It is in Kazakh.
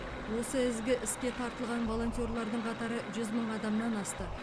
осы ізгі іске тартылған волонтерлердің қатары жүз мың адамнан асты